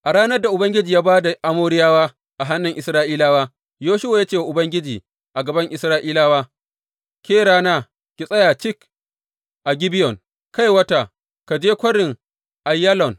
A ranar da Ubangiji ya ba da Amoriyawa a hannun Isra’ilawa, Yoshuwa ya ce wa Ubangiji a gaban Isra’ilawa, Ke rana, ki tsaya cik a Gibeyon Kai wata, ka je Kwarin Aiyalon.